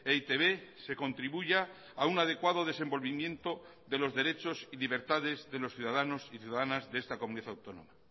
e i te be se contribuya a un adecuado desenvolvimiento de los derechos y libertades de los ciudadanos y ciudadanas de esta comunidad autónoma